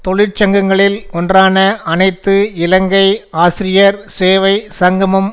தொழிற்சங்கங்களில் ஒன்றான அனைத்து இலங்கை ஆசிரியர் சேவை சங்கமும்